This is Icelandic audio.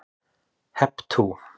Hep tú!